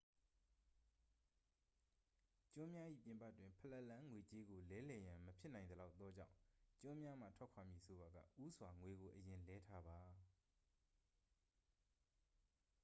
ကျွန်းများ၏ပြင်ပတွင် ဖလက်လန်း ငွေကြေးကို လဲလှယ်ရန်မဖြစ်နိုင်သလောက်သောကြောင့် ကျွန်းများမှထွက်ခွာမည်ဆိုပါက ဦးစွာ ငွေကိုအရင်လဲထားပါ